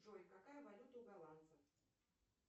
джой какая валюта у голландцев